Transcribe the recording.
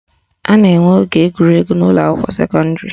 A na-enwe oge egwuregwu n'ụlọakwụkwọ sekọndịrị